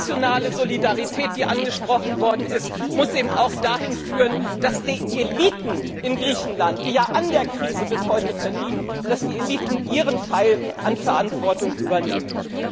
Die nationale Solidarität, die angesprochen worden ist, muss eben auch dahin führen, dass die Eliten in Griechenland, die ja an der Krise bis heute verdienen, dass die Eliten ihren Teil an Verantwortung übernehmen.